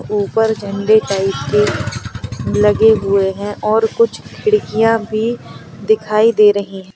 ऊपर झंडे टाइप के लगे हुए हैं और कुछ खिड़कियां भी दिखाई दे रही है।